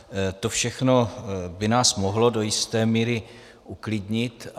To všechno by nás mohlo do jisté míry uklidnit.